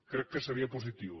crec que seria positiu